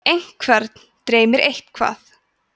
einhvern dreymir eitthvað